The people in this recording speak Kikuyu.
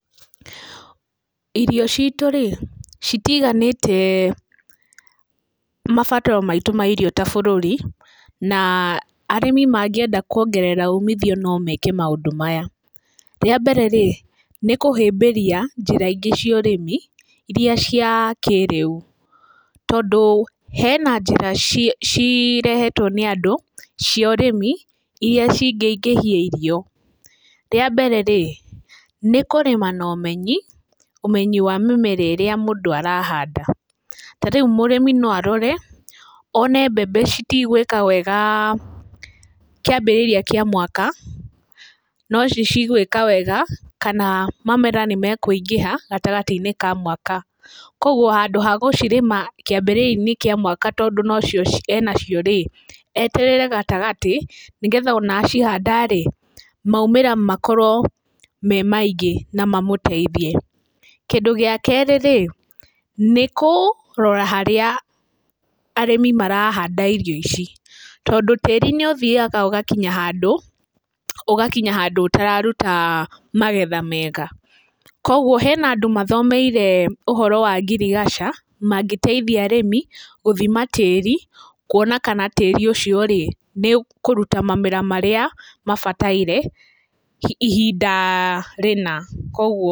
Irio citũ rĩ, citiganĩte mabataro maitũ mairio ta bũrũri, na arĩmĩ mangĩenda kuongerera umithio no meke maũndũ maya. Rĩa mbere rĩ, nĩ kũhĩmbĩria njĩra ingĩ cio ũrĩmi iria cia kĩrĩu, tondũ hena njĩra cirehetwo nĩ andũ cia ũrĩmi iria cingĩ ingĩhia irio. Rĩa mbere rĩ, nĩ kũrĩma no ũmenyi, ũmenyi wa mĩmera ĩrĩa mũndũ arahanda. Ta rĩu mũrĩmi no arore one mbembe citigũĩka wega kĩambĩrĩria kĩa mwaka, no nĩ cigũĩka wega kana mamera nĩ mekũingĩha gatagatĩinĩ ka mwaka. Koguo handũ ha gũcirĩma kĩambĩrĩria-inĩ kĩa mwaka tondũ nocio enacio rĩ, eterere gatagatĩ nĩgetha ona acihanda rĩ, maumĩra makorũo me maingĩ na mamũteithie. Kĩndũ gĩa kerĩ rĩ, nĩ kũrora harĩa arĩmĩ marahanda irio ici, tondũ tĩri nĩ ũthiaga ũgakinya handũ, ũgakinya handũ ũtararuta magetha mega. Koguo hena andũ mathomeire ũhoro wa ngirigaca, mangĩteithia arĩmi gũthima tĩri, kuona kana tĩri ũcio rĩ, nĩ ũkũruta mamera marĩa mabataire ihinda rĩna.